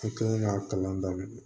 I kɛlen k'a kalan daminɛ